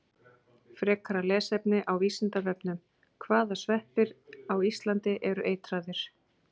Frekara lesefni á Vísindavefnum: Hvaða sveppir á Íslandi eru eitraðir?